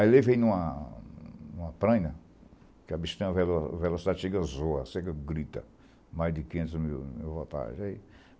Aí levei em uma em uma prenha, que a bichinha tem uma velo velocidade que zoa, a serra grita, mais de quinhentos mil voltagens.